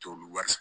T'olu wari